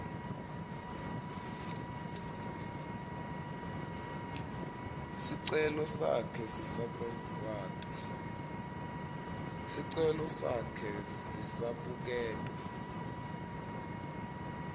sicelo sakhe sisabuketwa